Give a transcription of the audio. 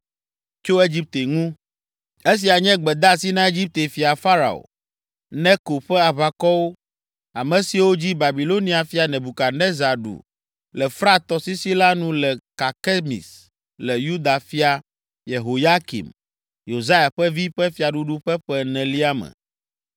Tso Egipte ŋu: Esia nye gbedeasi na Egipte fia Farao Neko ƒe aʋakɔwo, ame siwo dzi Babilonia fia Nebukadnezar ɖu le Frat tɔsisi la nu le Karkemis le Yuda fia, Yehoyakim, Yosia ƒe vi ƒe fiaɖuɖu ƒe ƒe enelia me: